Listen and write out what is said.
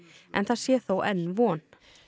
en það sé þó enn von